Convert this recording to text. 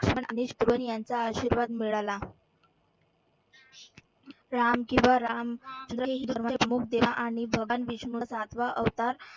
यांचा आशिर्वाद मिळाला. राम किंवा राम आणि भगवान विष्णू सातवा अवतार